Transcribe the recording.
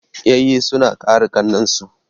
Yayyi suna kare ƙannan su.